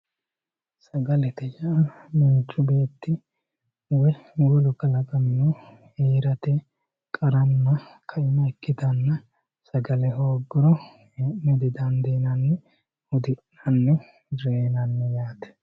sagalete yaa manchu beetti woy wolu kalaqamino heerate qaranna kaima ikkitanna sagale hoogguro hee'ne didandiinanni hudi'nanni reynanni yaate.